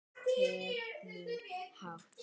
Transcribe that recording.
Við stefnum hátt.